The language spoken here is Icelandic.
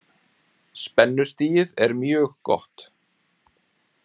Spennustigið er mjög gott.